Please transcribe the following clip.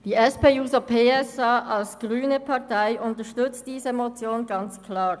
Die SP-JUSO-PSA-Fraktion unterstützt diese Motion ganz klar.